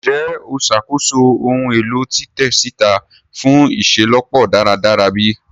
Njẹ o ṣakoso ohun elo titẹ sita fun iṣelọpọ daradara bi?